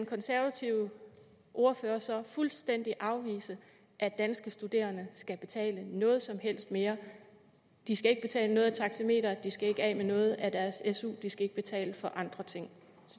konservative ordfører så fuldstændig afvise at danske studerende skal betale noget som helst mere de skal ikke betale noget af taxameteret de skal ikke af med noget af deres su de skal ikke betale for andre ting